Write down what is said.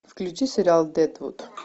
включи сериал дедвуд